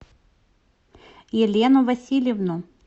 елену васильевну